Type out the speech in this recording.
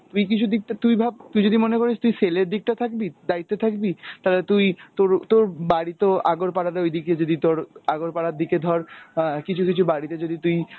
তুই কিছু দিকটা, তুই ভাব তুই যদি মনে করিস তুই sell এর দিকটা থাকবি, দায়িত্বে থাকবি তালে তুই তোরও তোর বাড়িতেও আগরপাড়াতে ঐদিকে যদি তোর আগরপাড়ার দিকে ধর কিছু কিছু বাড়িতে যদি তুই